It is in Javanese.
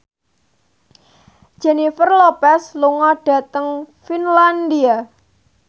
Jennifer Lopez lunga dhateng Finlandia